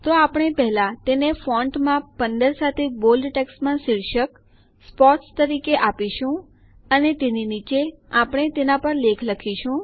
તો આપણે પહેલા તેને ફોન્ટ માપ ૧૫ સાથે બોલ્ડ જાડું લખાણ ટેક્સ્ટમાં શીર્ષક સ્પોર્ટ્સ તરીકે આપીશું અને તેની નીચે આપણે તેના પર લેખ લખીશું